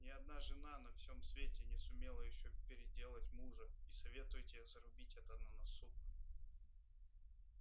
ни одна жена на всем свете не сумела ещё переделать мужа и советую тебе зарубить это на носу